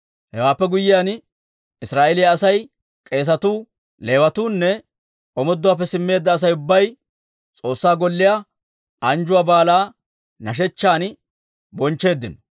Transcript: Hewaappe guyyiyaan, Israa'eeliyaa asay, k'eesatuu, Leewatuunne omooduwaappe simmeedda Asay ubbay S'oossaa Golliyaa anjjuwaa baalaa nashechchan bonchcheeddino.